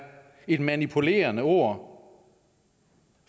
et manipulerende ord